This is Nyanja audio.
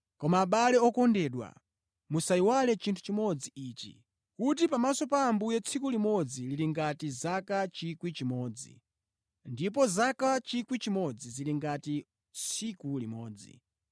Koma abale okondedwa, musayiwale chinthu chimodzi ichi: Kuti pamaso pa Ambuye tsiku limodzi lili ngati zaka 1,000, ndipo zaka 1,000 zili ngati tsiku limodzi!